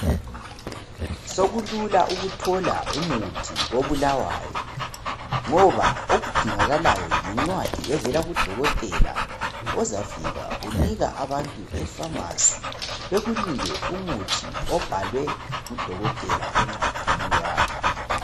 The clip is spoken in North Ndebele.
Sokukulula ukuthola umuthi kobulawayo, ngoba okudingakalayo yincwadi evela kudokotela ozafika unika abantu efamasi bekunike umuthi obhalwe ngudokotela encwadini yakho.